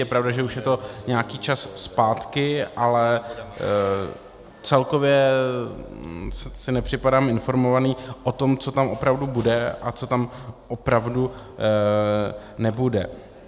Je pravda, že už je to nějaký čas zpátky, ale celkově si nepřipadám informovaný o tom, co tam opravdu bude a co tam opravdu nebude.